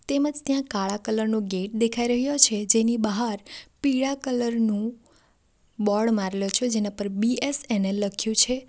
તેમજ ત્યાં કાળા કલર નો ગેટ દેખાઈ રહ્યો છે જેની બહાર પીળા કલર નું બોર્ડ મારેલો છે જેના ઉપર બીએસએનએલ લખ્યું છે.